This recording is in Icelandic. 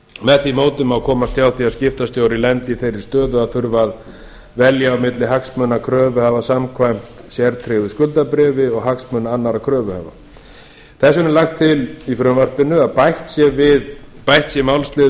með því móti má komast hjá því að skiptastjóri lendi í þeirri stöðu að þurfa að velja á milli hagsmuna kröfuhafa samkvæmt sértryggðu skuldabréfi og hagsmuna annarra kröfuhafa þess vegna er lagt til í frumvarpinu að bætt sé málslið